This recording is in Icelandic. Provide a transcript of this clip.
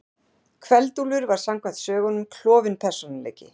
Kveld-Úlfur var samkvæmt sögunum klofinn persónuleiki.